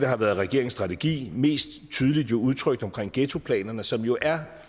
har været regeringens strategi mest tydeligt jo udtrykt omkring ghettoplanerne som jo er